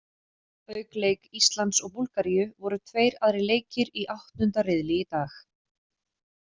Auk leik Íslands og Búlgaríu voru tveir aðrir leikir í áttunda riðli í dag.